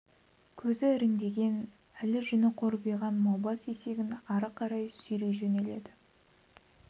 қазақ көзі іріндеген әлі жүні қорбиған маубас есегін ары қарай сүйрей жөнеледі